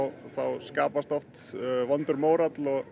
skapast oft vondur mórall